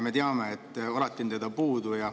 Me teame, et alati on seda puudu.